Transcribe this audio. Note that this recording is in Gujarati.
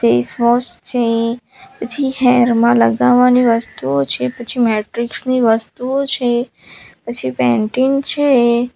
ફેસવોશ છે પછી હેર માં લગાવવાની વસ્તુઓ છે પછી મેટ્રિક્સ ની વસ્તુઓ છે પછી પેન્ટીન છે.